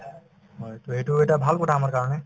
হয়, to সেইটো এটা ভাল কথা আমাৰ কাৰণে